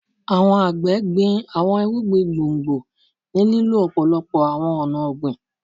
Àwọn àgbẹ gbin àwọn irúgbìn gbòngbò ni lílo òpòlopo awọn ọna ogbin